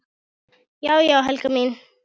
Já já, Helga mín.